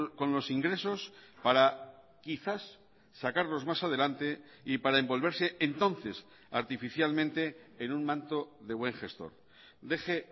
con los ingresos para quizás sacarlos más adelante y para envolverse entonces artificialmente en un manto de buen gestor deje